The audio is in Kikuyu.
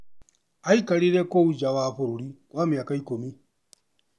Aikarire kũu nja wa bũrũri kwa mĩaka ikũmi.